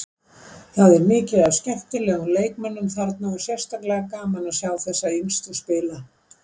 Það er mikið af skemmtilegum leikmönnum þarna og sérstaklega gaman að sjá þessa yngstu spila.